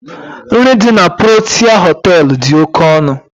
Nri dị na Protịa Họtelu dị oke ọnụ.